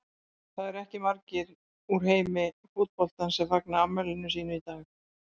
Það eru ekki margir úr heimi fótboltans sem fagna afmælinu sínu í dag.